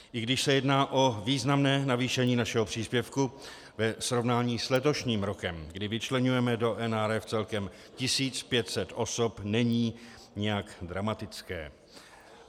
I když se jedná o významné navýšení našeho příspěvku ve srovnání s letošním rokem, kdy vyčleňujeme do NRF celkem 1500 osob, není nijak dramatické.